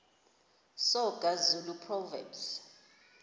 soga zulu proverbs